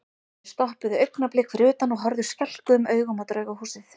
Þeir stoppuðu augnablik fyrir utan og horfðu skelkuðum augum á Draugahúsið.